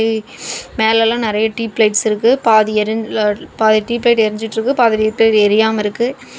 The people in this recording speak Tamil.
மேல எல்லாம் நறைய டியூப் லைட் இருக்கு பாதி டியூப் லைட் எரிஞ்சிட்டு இருக்கு பாதி டியூப் லைட் எரியாம இருக்கு.